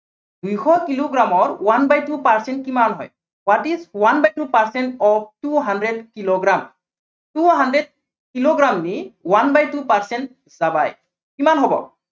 দুইশ কিলোগ্ৰামৰ one by two percent কিমান হয়। what is one by two percent of two hundred kilogram two hundred kilogram is one by two percent কিমান হব?